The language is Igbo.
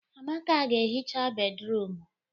Amaka ga-ehicha bédrụum.